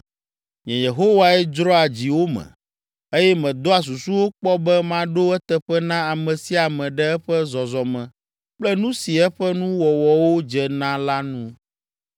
“Nye Yehowae dzroa dziwo me, eye medoa susuwo kpɔ be maɖo eteƒe na ame sia ame ɖe eƒe zɔzɔme kple nu si eƒe nuwɔwɔwo dze na la nu.”